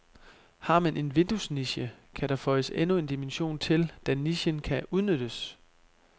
Har man en vinduesniche, kan der føjes endnu en dimension til, da nichen kan udnyttes.